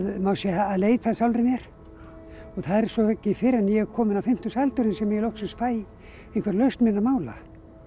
má segja að leita að sjálfri mér það er svo ekki fyrr en ég er komin á fimmtugsaldurinn sem ég loksins fæ einhverja lausn minna mála